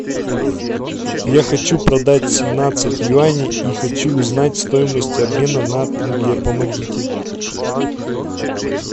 я хочу продать семнадцать юаней и хочу узнать стоимость обмена на тенге помогите